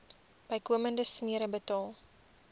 bykomende smere betaal